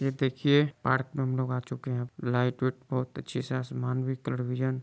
ये देखिए पार्क में हम लोग आ चुके है लाइट विट बहुत अच्छी से आसमान भी कलर में--